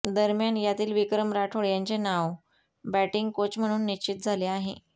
दरम्यान यातील विक्रम राठोड यांचे नाव बॅटिंग कोच म्हणून निश्चित झाले आहे